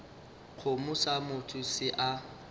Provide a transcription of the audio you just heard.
kgomo sa motho se a